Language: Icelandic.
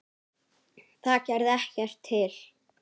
Það gerði ekkert til.